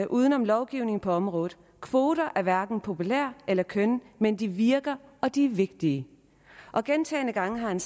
uden om lovgivning på området kvoter er hverken populære eller kønne men de virker og de er vigtige og gentagne gange har han